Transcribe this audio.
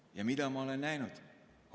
Ja mida ma olen näinud?